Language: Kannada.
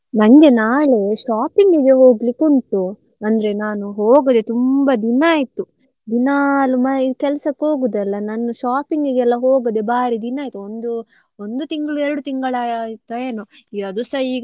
ನಂಗೆ ನಾಳೆ shopping ಇಗೆ ಹೋಗ್ಲಿಕ್ಕೆ ಉಂಟು. ಅಂದ್ರೆ ನಾನು ಹೋಗದೆ ತುಂಬಾ ದಿನ ಆಯ್ತು. ದಿನಾಲು ಕೆಲ್ಸಕ್ಕೆ ಹೋಗುದಲ್ಲ. ನಾನು shopping ಇಗೆ ಹೋಗದೆ ಬಾರಿ ದಿನಾ ಆಯ್ತು. ಒಂದು ಒಂದು ತಿಂಗಳು ಎರಡು ತಿಂಗಳು ಆ~ ಆಯ್ತಾ ಏನೋ? ಅದುಸ ಈಗ ನಾವೆಲ್ಲ.